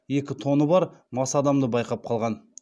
екі тоны бар мас адамды байқап қалған